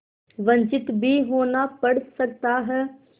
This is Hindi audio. वंचित भी होना पड़ सकता है